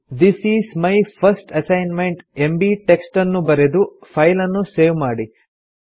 this is my first assignment MB text ಅನ್ನು ಬರೆದು ಫೈಲನ್ನು ಸೇವ್ ಮಾಡಿ